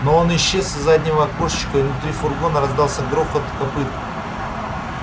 но он исчез из заднего окошечка и внутри фургона раздался грохот копыт